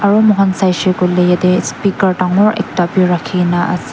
aro mo kan sai shae kulae yete speaker tangor ekta bi rakina ase.